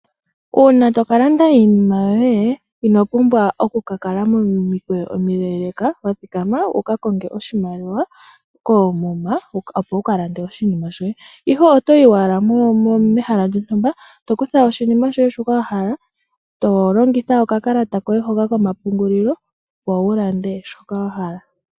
Uuna tokalanda iinima yoye ino pumbwa okukakala momikweyo omileeleka wuka konge oshimaliwa koomuma opo wukalande oshinima shoye. Ihe otoyi owala pehala lyo ntumba tokutha oshinima shoye shoka wahala , tolongitha okakalata koye hoka komapungulilo opo wu lande shoka wahala.